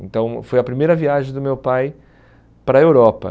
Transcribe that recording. Então, foi a primeira viagem do meu pai para a Europa.